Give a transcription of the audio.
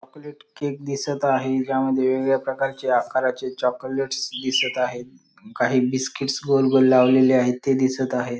Chocolate cake दिसत आहे त्यामध्ये वेगवेगळ्या प्रकारचे आकाराचे चॉकोलेट्स दिसत आहेत काही बिसकिट गोल गोल लावलेले आहेत ते दिसत आहे.